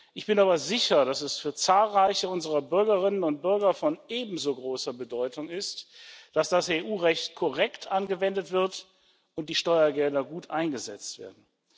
Ich bin aber sicher, dass es für zahlreiche unserer Bürgerinnen und Bürger von ebenso großer Bedeutung ist, dass das EU Recht korrekt angewendet wird und die Steuergelder gut eingesetzt werden.